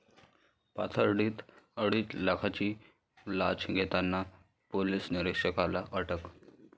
पाथर्डीत अडीच लाखांची लाच घेताना पोलीस निरीक्षकाला अटक